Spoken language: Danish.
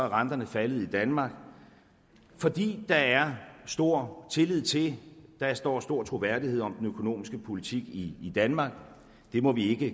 renterne faldet i danmark fordi der er stor tillid til og stor troværdighed om den økonomiske politik i danmark det må vi ikke